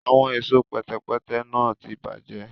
Awọn ẹṣọ pẹtẹpẹtẹ náà tí bajẹ